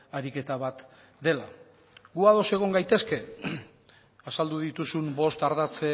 ariketa bat dela gu ados egon gaitezke azaldu dituzun bost ardatz